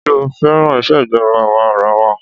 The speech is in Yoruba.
Ṣé ó féràn ìṣèjọba àwa arawa?